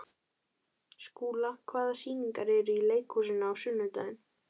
Skúla, hvaða sýningar eru í leikhúsinu á sunnudaginn?